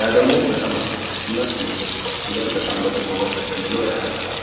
ያ ደግሞ በጣም አስደሳች እና ከማህበረሰባችን ጋር በጣም በመስማማት እንድንኖር ያደርገናል።